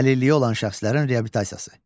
Əlilliyi olan şəxslərin reabilitasiyası.